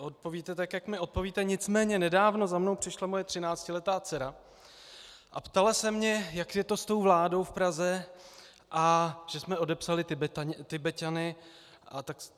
odpovíte tak, jak mi odpovíte, nicméně nedávno za mnou přišla moje třináctiletá dcera a ptala se mě, jak je to s tou vládou v Praze a že jsme odepsali Tibeťany.